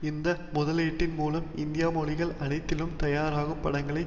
இந்த முதலீட்டின் மூலம் இந்திய மொழிகள் அனைத்திலும் தயாராகும் படங்களை